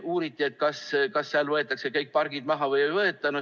Uuriti, kas seal võetakse kõik pargid maha või ei võeta.